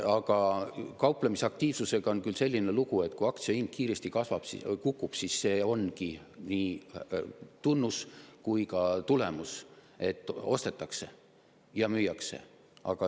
Aga kauplemisaktiivsusega on küll selline lugu, et kui aktsiahind kiiresti kukub, siis see ongi nii tunnus kui ka tulemus, et ostetakse ja müüakse.